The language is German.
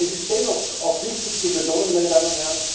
Es ist dennoch auch wichtig zu betonen,